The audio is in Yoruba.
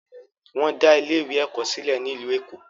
Wọn dá ilé ìwé ẹ̀kọ́ sílẹ̀ ní ìlú Èkó.